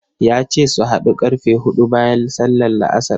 Ya ce su haɗu ƙarfe huɗu bayan sallar La'asar.